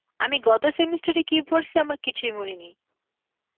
আমি গত semester এ কি পড়সি আমার কিছুই মনে নেই.